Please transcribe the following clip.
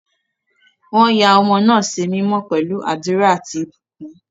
Wọ́n ya ọmọ náà sí mímọ́ pẹ̀lú àdúrà àti ìbùkún.